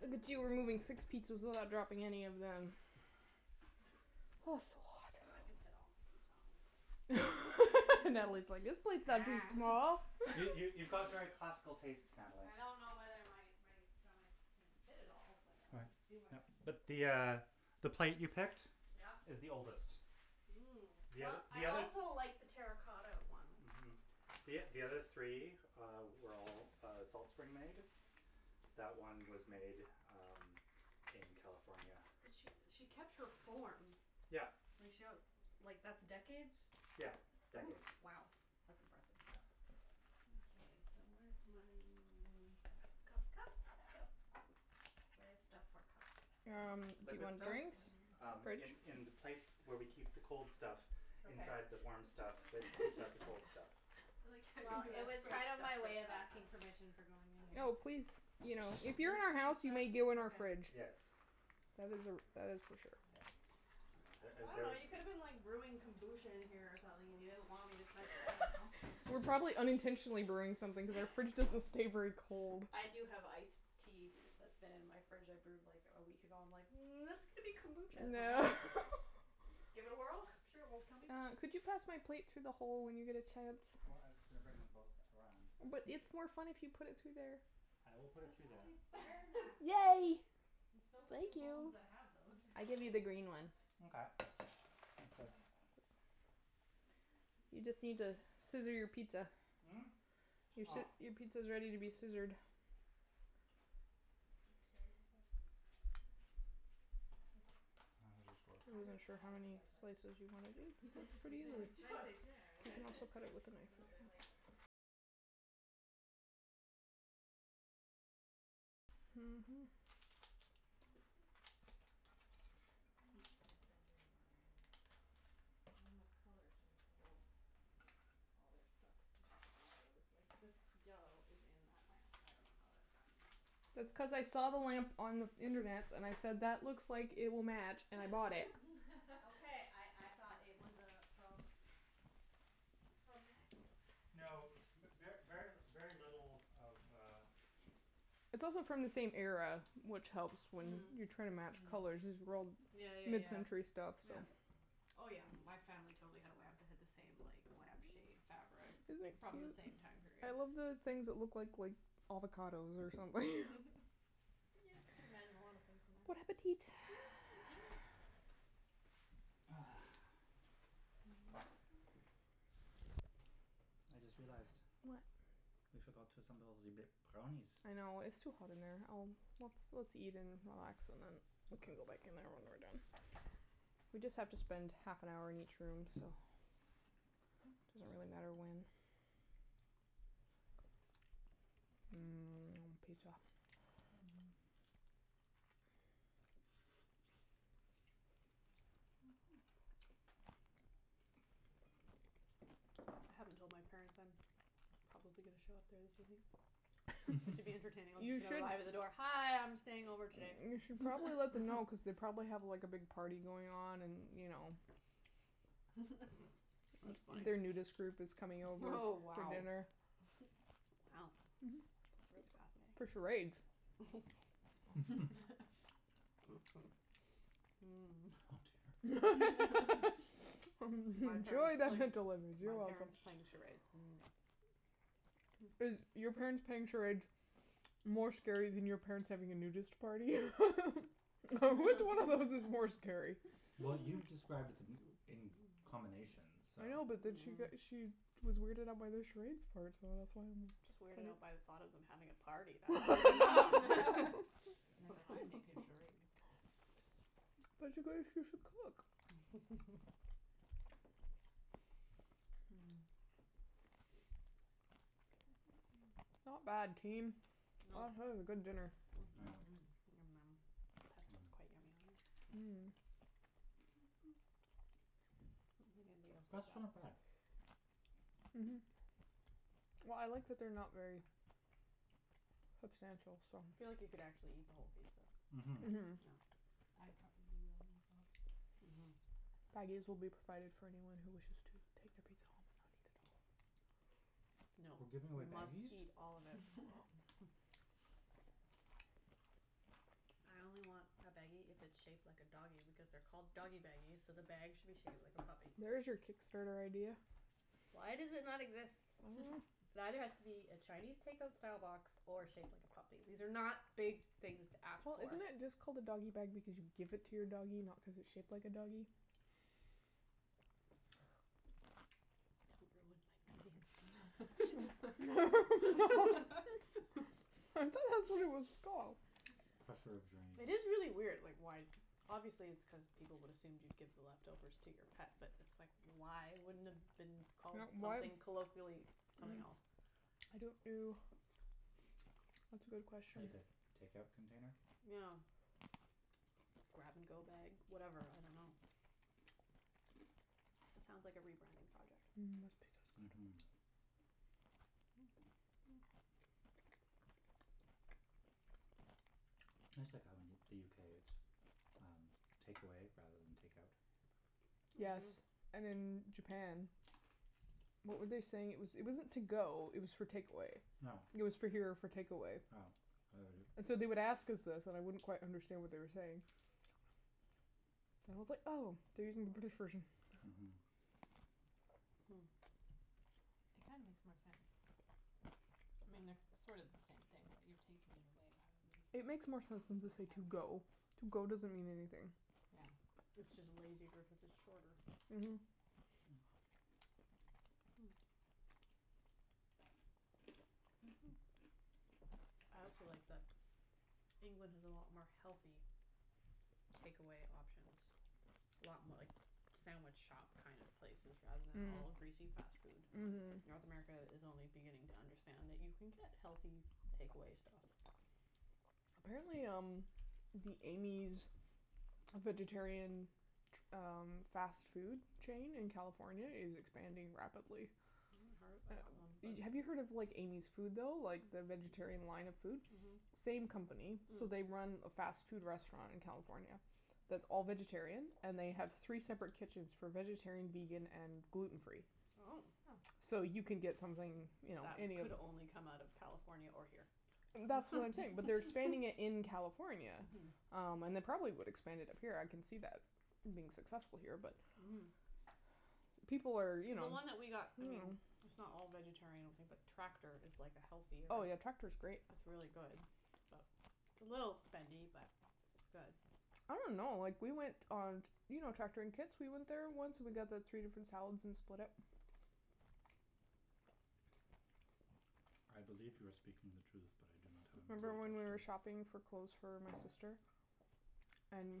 Look at you removing six pizzas without dropping any of them. Oh, it's so hot. I can fit all my pizza on my plate. Natalie's like, "This plate's not too small." You, you, you've got very classical tastes, Natalie. I don't know whether my my stomach can fit it all, but I'm Right. gonna do my Yep. best. But the uh the plate you picked Yeah? is the oldest. Mmm. The Well, oth- the I other also like the terra cotta one. Mhm. The o- the other three, uh, were all, uh, Salt Spring made. That one was made, um, in California. But she, she kept her form. Yeah. Like she wants, like that's decades? Yeah, decades. W- wow, that's impressive. Yeah. Okay, so where's my m- cup, cup, cup, cup? Where is stuff for cup? Um, do you Liquid want stuff? drinks? Um, Fridge. in, in the place where we keep the cold stuff Okay. inside the warm stuff that keeps out the cold stuff. I like how Well, it was kind of my way of asking you permission for going in here. Oh, please. You know, if you're in our house, you may go in our fridge. Yes. That is a, that is for sure. Yeah. Ah the I ah dunno, you could have the been like brewing kombucha in here or something and you didn't want me to touch it, I don't know. We're probably unintentionally brewing something because our fridge doesn't stay very cold. I do have ice tea that's been in my fridge I brewed like a week ago. I'm like, "Mm, that's going to be kombucha at some point." Give it a whirl, I'm sure it won't kill me. Uh, could you pass my plate through the hole when you get a chance? Well, I was just gonna bring them both around, but But it's more fun if you put it through there. I will put it That's through why there. it's there, Matt. Yay! There's so Thank few homes you. that have those. I give you the green one. Mkay. Thanks, babe. You just need to scissor your pizza. Mm? Your Oh. sci- your pizza is ready to be scissored. These chairs are so spicy. I love them. I just work. I I I said heard s- spacey. wasn't sure how many spicy. I was like, slices you wanna do. "Spicy? It's an Cuts pretty interesting Those word easily. spicy chairs. You choice." can also cut it with the knife No, if you they're, like want. Mhm. Like, peak mid-century modern, Well, and the colour just space age. goes. Yeah. All their stuff magically goes. Like, this yellow is in that lamp. I dunno how that ever happened, but it is. That's cuz I saw the lamp on internets and I said, "That looks like it will match," and I bought it. Okay, I I thought it was uh from from Matthew. No, Funny. mer- ver, very, very little of uh It's also from the same era, which helps when you're trying to match Mhm. colors. These are all Yeah, yeah, yeah. mid-century stuff, so Oh, yeah. My family totally had a lamp that had the same like lamp shade fabric Isn't it from the cute? same time I period. love the things that look like, like avocados or something. Yeah, I can imagine a lot of things in there. Bon appetit. Eat. Ah. I just realized What? we forgot to assemble ze b- brownies. I know. It's too hot in there. I'll Let's, let's eat and relax and then we can Okay. go back in there when we're done. We just have to spend half an hour in each room, so, doesn't really matter when. Mmm, pizza. I haven't told my parents I'm probably gonna show up there this evening. But to be entertaining I'm You just gonna should arrive at the door, "Hi, I'm staying over today." You should probably let them know cuz they probably have, like, a big party going on and, you know That's funny. their nudist group is coming over Oh, for wow. dinner. Wow, that's really For fascinating. charades. Oh Enjoy dear. My parents the playing, mental image, you're my welcome. parents playing charades, no. Is your parents playing charades more scary than your parents having a nudist party? Which one of those is more scary? Well, you described b- d- m- in combination, so I know, but then she got, Mhm. she was weirded out by the charades part, so that's why I'm Just weirded out by the thought of them having a party. That's weird enough. Never mind making charades. But it's a cook. Not bad, Well team. That is a good dinner. Yeah. Mhm. Yum num. Pesto is quite Mm. yummy on here. I Mmm. don't think anybody The else did crust's not that. bad. Mhm. Well, I like that they're not very substantial, so I feel like you could actually eat the whole pizza. Mhm. No. Mhm. I probably will eat the whole pizza. Mhm. Baggies will be provided for anyone who wishes to take a pizza home and not eat it all. No, We're giving away we must baggies? eat all of it. I only want a baggie if it's shaped like a doggy because they're called doggy baggies, so the bag should be shaped like a puppy. There is your Kickstarter idea. Why does it not exist? I dunno. It either has to be a Chinese takeout style box or shaped like a puppy. These are not big things to ask Well, for. isn't it just called a doggy bag because you give it to your doggy, not cuz it's shaped like a doggy? Don't ruin my dream. I thought that's what it was called. Crusher of dreams. It is really weird, like why Obviously it's cuz people would assumed you'd give the leftovers to your pet, but it's like, why wouldn't it have been called Yeah, why something Mm. colloquially, I something else? don't know. That's a good question. Like a takeout container? Yeah. grab-and-go bag, whatever. I dunno. That sounds like a rebranding project. Mhm, that's Mhm. That's like how in the UK, it's um takeaway rather than takeout. Yes. Mhm. And in Japan, what were they saying? It was, it wasn't to-go, it was for takeaway. Yeah. It was for here or for takeaway. Yeah, I heard it. So they would ask us this and I wouldn't quite understand what they were saying. And I was like, "Oh, they're using the British version." Hmm. It kinda makes more sense. I mean, they're sort of the same Mhm. thing, but you're taking it away rather than just It like makes more sense than taking to say it "to-go". out. "to-go" doesn't mean anything. Yeah. It's just a lazy word cuz it's shorter. Mhm. I also like that England has a lot more healthy takeaway options. A lot mo- like sandwich shop kind of places rather than all Mm. greasy fast Mm. food. Mhm. North Mhm. America Mhm. is only beginning to understand that you can get healthy takeaway stuff. Apparently, um, the Amy's vegetarian ch- um fast food chain in California is expanding rapidly. I haven't heard of that one, but Have you heard of like Amy's Food, though, like the vegetarian line of food? Mhm. Mm. Same company. So, they run a fast food restaurant in California that's all vegetarian. And they have three separate kitchens for vegetarian, vegan and gluten free. Oh. So you can get something, you know That any of could only come out of California or here. That's what I'm saying, but they're expanding it in California. Um, and they probably would expand it up here. I can see that being successful here, but Mhm. people are, you know. The one that we got, I mean it's not all vegetarian, I don't think, but Tractor is like a healthier Oh, yeah, Tractor's great. It's really good, but It's a little spendy, but it's good. I don't know. Like, we went on t- You know Tractor in Kits? We went there once and we got the three different salads and split it. I believe you are speaking the truth, but I do not have a Remember when we memory were attached to it. shopping for clothes for my sister? And